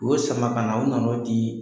U y'o sama ka na u nan'o di